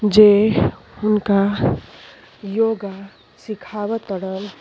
जे उनका योगा सिखाव तड़न।